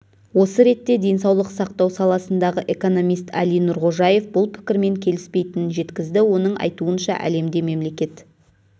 осы ретте денсаулық сақтау саласындағы экономист әли нұрғожаев бұл пікірмен келіспейтінін жеткізді оның айтуынша әлемде мемлекет